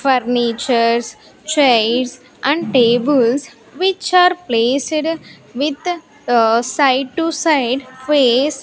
furnitures chairs and tables which are placed with ah side to side face.